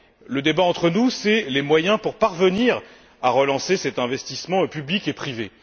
Le débat entre nous porte sur les moyens pour parvenir à relancer cet investissement public et privé.